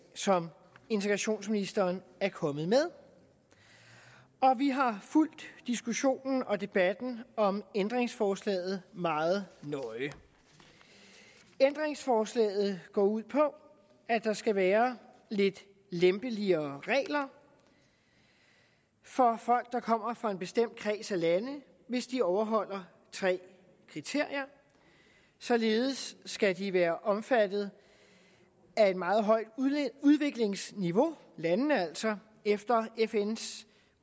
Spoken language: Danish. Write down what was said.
som integrationsministeren er kommet med og vi har fulgt diskussionen og debatten om ændringsforslaget meget nøje ændringsforslaget går ud på at der skal være lidt lempeligere regler for folk der kommer fra en bestemt kreds af lande hvis de overholder tre kriterier således skal de være omfattet af et meget højt udviklingsniveau landene altså efter fns